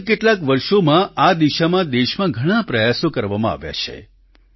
ગત કેટલાક વર્ષોમાં આ દિશામાં દેશમાં ઘણાં પ્રયાસો કરવામાં આવ્યા છે